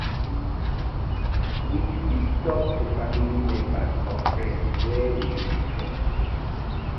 we fit talk to family member or friend wey we fit trust